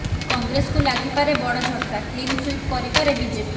କଂଗ୍ରେସକୁ ଲାଗିପାରେ ବଡ ଝଟକା କ୍ଲିନ୍ ସୁଇପ୍ କରିପାରେ ବିଜେପି